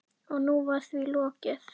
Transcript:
En nú var því lokið.